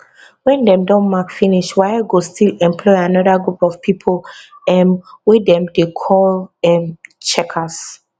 wen dem don mark finish waec go still employ anoda group of pipo um wey dem dey call um checkers